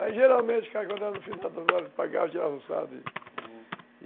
Aí, geralmente